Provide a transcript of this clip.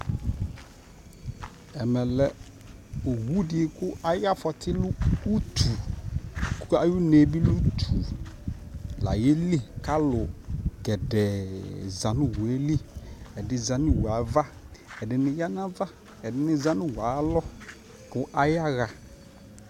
ɛmɛ lɛ ɔwʋ di kʋayi aƒɔti lɛ ʋtʋ kʋayi ʋnɛ bi lɛ ʋtʋ layɛ li kʋ alʋ gɛdɛɛ zanʋ ɔwʋɛ li, ɛdi zanʋɔwʋɛ aɣa, ɛdini yanʋ aɣa, ɛdini za nʋ ɔwʋɛ ayialɔ kʋ ayiaha